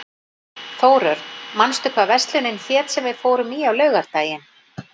Þórörn, manstu hvað verslunin hét sem við fórum í á laugardaginn?